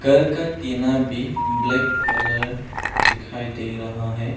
घर का टीना भी ब्लैक कलर दिखाई दे रहा है।